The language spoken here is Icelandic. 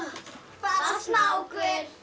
bara snákur